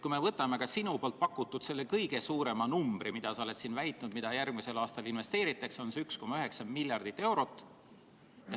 Kui me võtame sinu pakutud numbritest kõige suurema, mida sa oled väitnud järgmisel aastal investeeritavat, siis see on 1,9 miljardit eurot.